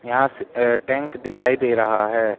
यहां से टैंक दिखाई दे रहा है।